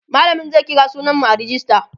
mallamin mu zai kira sunan mu a rejista